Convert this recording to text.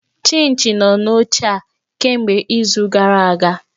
Chinchị nọ n'oche a kemgbe izu gara aga!